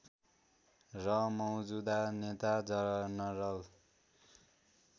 र मौजूदा नेता जनरल